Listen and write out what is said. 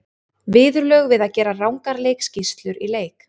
Viðurlög við að gera rangar leikskýrslur í leik?